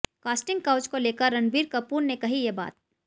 casting couch को लेकर रणबीर कपूर ने कही ये बात